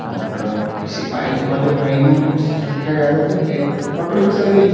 किसी बाइक वाले भाइयों की संख्या ज्यादा है। एक ऑटो रिक्शा भी है।